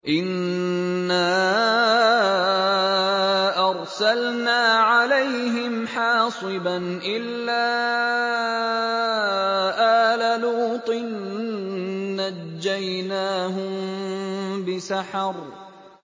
إِنَّا أَرْسَلْنَا عَلَيْهِمْ حَاصِبًا إِلَّا آلَ لُوطٍ ۖ نَّجَّيْنَاهُم بِسَحَرٍ